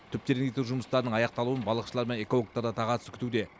түп тереңдету жұмыстарының аяқталуын балықшылар мен экологтар да тағатсыз күтуде